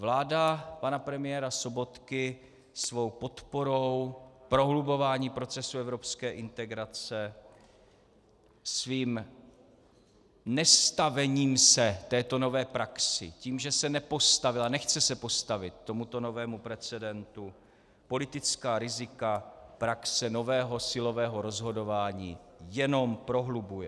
Vláda pana premiéra Sobotky svou podporou prohlubování procesu evropské integrace, svým nestavením se této nové praxi, tím, že se nepostavila, nechce se postavit tomuto novému precedentu, politická rizika praxe nového silového rozhodování jenom prohlubuje.